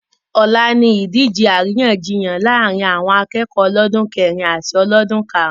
Ọ̀la ni ìdíje àríyànjiyàn láàrín àwọn akẹ́kọ̀ọ́ ọlọ́dún kẹrìn in àti ọlọ́dún karùn-ún